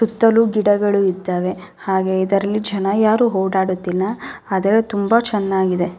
ಸುತ್ತಲೂ ಗಿಡಗಳು ಇದ್ದವೇ ಹಾಗೆ ಇದರಲ್ಲಿ ಜನ ಯಾರು ಓಡಾಡುತ್ತಿಲ್ಲ ಆದರೆ ತುಂಬಾ ಚೆನ್ನಾಗಿದೆ --